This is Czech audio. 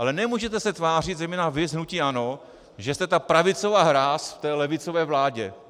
Ale nemůžete se tvářit, zejména vy z hnutí ANO, že jste ta pravicová hráz v levicové vládě.